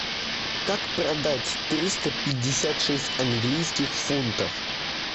как продать триста пятьдесят шесть английских фунтов